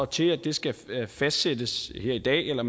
til at det skal fastsættes her i dag eller